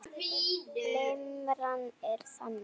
Limran er þannig